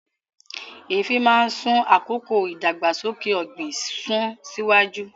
Eefin máa ń sún àkókò ìdàgbàsókè ọ̀gbìn sún síwájú